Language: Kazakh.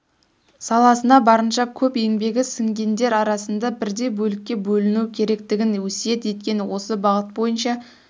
саласына барынша көп еңбегі сіңгендер арасында бірдей бөлікке бөліну керектігін өсиет еткен осы бағыт бойынша